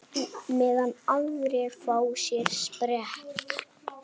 Meðan aðrir fá sér sprett?